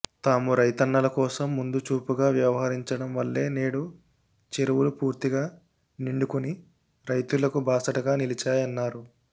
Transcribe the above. తాము రైతన్నల కోసం ముందు చూపుగా వ్యవహరించడం వల్లే నేడు చెరువులు పూర్తిగా నిండుకుని రైతులకు బాసటగా నిలిచాయన్నారు